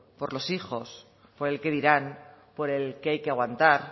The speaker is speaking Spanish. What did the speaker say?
por los hijos por el qué dirán por el que hay que aguantar